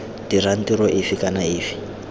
dirang tiro efe kana efe